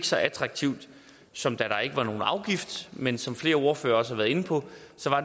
så attraktivt som da der ikke var nogen afgift men som flere ordførere også har været inde på